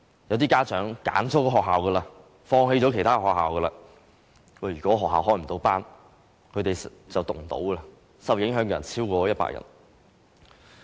有部分家長已選擇了該校而放棄其他學校，如果學校未能開班，其子女便無法入讀，受影響的學生超過100人。